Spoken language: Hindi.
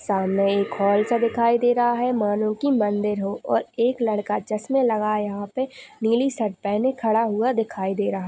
सामने एक हॉल सा दिखाई दे रहा है मानो की मंदीर हो और एक लड़का चश्मे लगाए यहाँ पे नीली शर्ट पहने खड़ा हुआ दिखाई दे रहा।